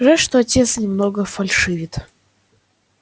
жаль что отец немного фальшивит